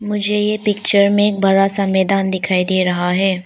मुझे ये पिक्चर में एक बड़ा सा मैदान दिखाई दे रहा है।